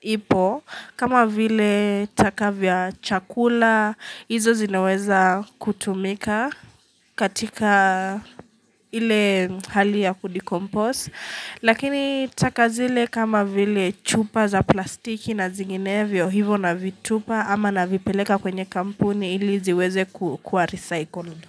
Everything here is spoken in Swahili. ipo kama vile taka vya chakula hizo zinaweza kutumika katika hali ya kudekompose. Lakini taka zile kama vile chupa za plastiki na zinginevyo hivo navitupa ama navipeleka kwenye kampuni ili ziweze kuwa recycled.